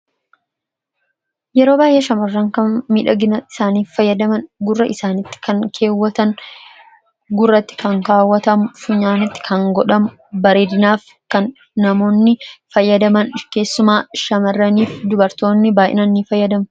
Yeroo baay'ee shamarran kan miidhagina isaaniif fayyadaman gurra isaaniitti kan keewwatan ,gurratti kan kaawwatamu, funyaanitti kan godhamu, bareedinaaf kan namoonni fayyadaman, keessumaa shamaraniif dubartoonni baay'inaan ni fayyadamu.